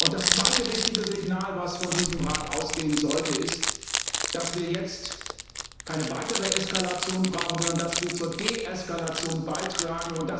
Das zweite wichtige Signal, was von diesem Rat ausgehen sollte, ist, dass wir jetzt keine weitere Eskalation brauchen, sondern dass wir zur Deeskalation beitragen.